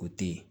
O te ye